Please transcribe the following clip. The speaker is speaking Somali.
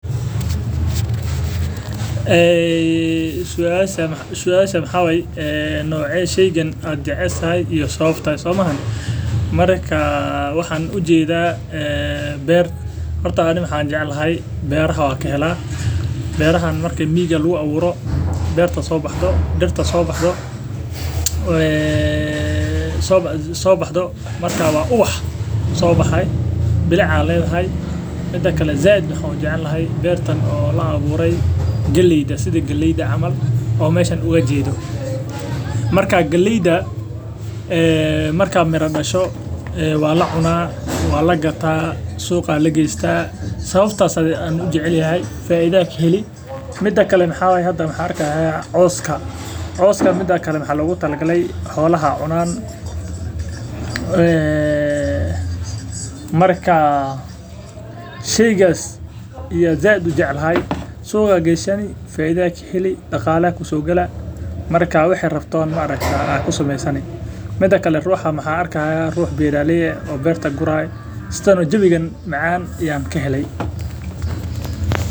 Suasha waxaa waye nocee sheygan ayaa jeceshahay iyo sababta waxaan jeclahay beer ayaa soo baxdo iyo miig soo baxeyso waa ubax soo baxe bilic ayeey ledahay waxaan jecel yahay galeyda waa lacunaa suuqa ayaa lageesta waa lagataa coska ayaan arki haaya xolaha ayaa cunaan ruuxa beeraley waye oo beerta gurayo.